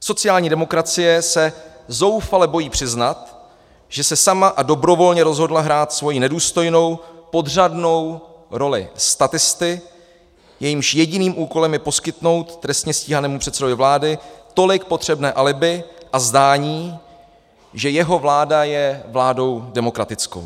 Sociální demokracie se zoufale bojí přiznat, že se sama a dobrovolně rozhodla hrát svoji nedůstojnou podřadnou roli statisty, jehož jediným úkolem je poskytnout trestně stíhanému předsedovi vlády tolik potřebné alibi a zdání, že jeho vláda je vládou demokratickou.